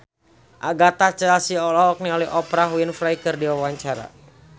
Agatha Chelsea olohok ningali Oprah Winfrey keur diwawancara